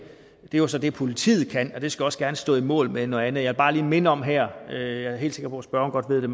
er så det politiet kan give og det skal også gerne stå mål med noget andet jeg vil bare lige minde om her jeg er helt sikker på at spørgeren godt ved det